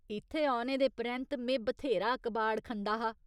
इत्थै औने दे परैंत्त में बथ्हेरा कबाड़ खंदा हा।